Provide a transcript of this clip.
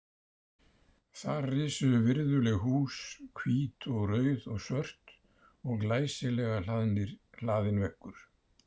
Þar risu virðuleg hús, hvít og rauð og svört og glæsilega hlaðinn veggur.